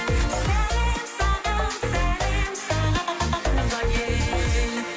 сәлем саған сәлем саған туған ел